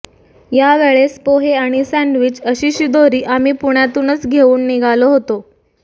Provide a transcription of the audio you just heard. या वेळेस पोहे आणि सॅंडविच अशी शिदोरी आम्ही पुण्यातूनच घेऊन निघालो होतो